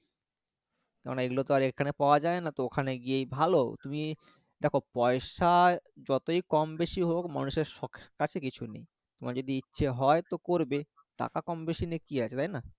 কারণ এইগুলো তো আর এখানে পাওয়া যায়না তো ওখানে গিয়েই ভালো তুমি দেখো পয়সা যতই কম বেশি হোক মানুষের শখের কাছে কিছুই নেই তোমার যদি ইচ্ছে হয় তো করবে টাকা কম বেশি নিয়ে কি আছে তাইনা